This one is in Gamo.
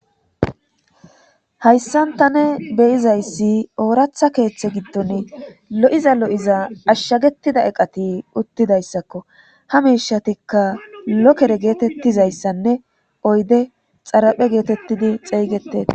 hayssanta ne beyizayssi ooratha keeththe giddon lo7iza lo7iza ashshagetida eqati uttidayssakko ha miishatikka lokere geetettizayssanne oyde xaraphe geetettidi xeeygeteta